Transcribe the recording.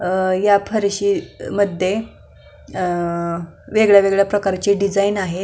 अ ह्या फारशी मध्ये वेगवेगळ्या अ प्रकारचे डिझाईन दिसत आहे.